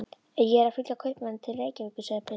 Ég er að fylgja kaupmanni til Reykjavíkur, segir pilturinn.